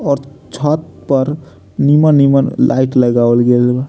और छत पर निमन-निमन लाइट लगावल गइल बा।